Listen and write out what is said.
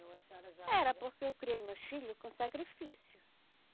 Ou a senhora já... Era, porque eu criei meus filho com sacrifício.